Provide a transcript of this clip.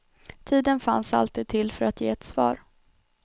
Tiden fanns alltid till för att ge ett svar.